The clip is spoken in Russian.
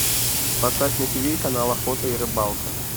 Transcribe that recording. поставь на тиви канал охота и рыбалка